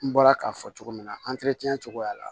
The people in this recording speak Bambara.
N bɔra k'a fɔ cogo min na cogoya la